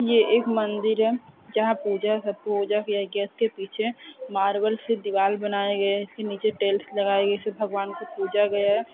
यह एक मंदिर है जहां पूजा सब पूजा किया गया उसके पीछे मार्बल से दीवार बनाए गए इसके नीचे टेल्स लगाएंगे इसे भगवान की पूजा गया है